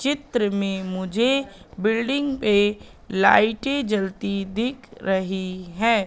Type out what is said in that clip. चित्र में मुझे बिल्डिंग पे लाइटें जलती दिख रही है।